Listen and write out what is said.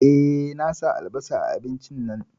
Eh, na sa albasa a abincin nan